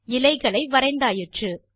இலைகளை வரைந்தாயிற்று